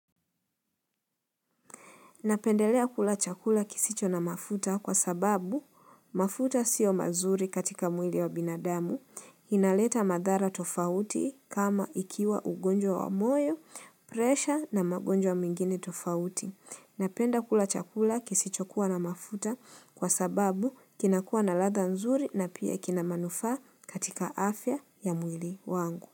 Napendelea kula chakula kisicho na mafuta kwa sababu mafuta sio mazuri katika mwili wa binadamu, inaleta madhara tofauti kama ikiwa ugonjwa wa moyo, presha na magonjwa mengine tofauti. Napenda kula chakula kisicho kua na mafuta kwa sababu kinakua na ladha nzuri na pia kinamanufaa katika afya ya mwili wangu.